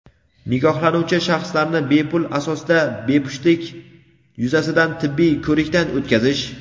nikohlanuvchi shaxslarni bepul asosda bepushtlik yuzasidan tibbiy ko‘rikdan o‘tkazish.